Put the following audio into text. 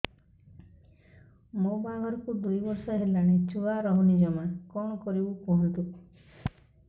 ମୋ ବାହାଘରକୁ ଦୁଇ ବର୍ଷ ହେଲାଣି ଛୁଆ ରହୁନି ଜମା କଣ କରିବୁ କୁହନ୍ତୁ